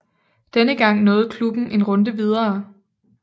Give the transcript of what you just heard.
Denne gang nåede klubben en runde videre